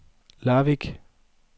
Larvik